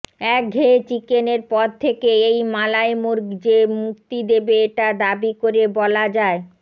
একঘেয়ে চিকেনের পদ থেকে এই মালাই মুর্গ যে মুক্তি দেবে এটা দাবী করে বলা যায়